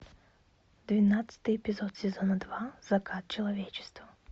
двенадцатый эпизод сезона два закат человечества